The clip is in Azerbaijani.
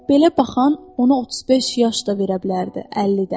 Belə baxan ona 35 yaş da verə bilərdi, 50 də.